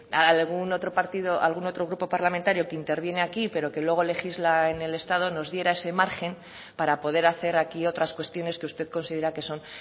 algún otro partido algún otro grupo parlamentario que interviene aquí pero que luego legisla en el estado nos diera ese margen para poder hacer aquí otras cuestiones que usted considera que son